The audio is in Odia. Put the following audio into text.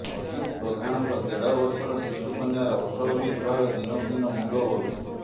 ଅଜିତ ପ୍ରଧାନଙ୍କ ଦେଢ ବର୍ଷର ଶିଶୁ କନ୍ୟାର ଅସ୍ୱାଭାବିକ ଭାବେ ଦିନକୁ ଦିନ ମୁଣ୍ଡ ବଢୁଛି